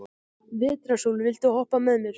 Vetrarsól, viltu hoppa með mér?